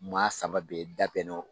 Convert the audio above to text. Maa saba bɛɛ da bɛnna o